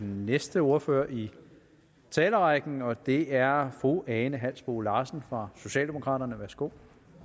den næste ordfører i talerækken og det er fru ane halsboe larsen fra socialdemokraterne værsgo